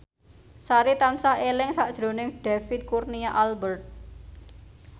Sari tansah eling sakjroning David Kurnia Albert